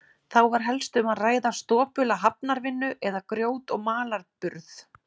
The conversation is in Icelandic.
Þá var helst um að ræða stopula hafnarvinnu, eða grjót- og malarburð.